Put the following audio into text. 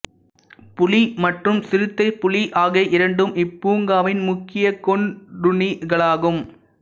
புலி மற்றும் சிறுத்தைப்புலி ஆகிய இரண்டும் இப்பூங்காவின் முக்கியக் கொன்றுண்ணிகளாகும்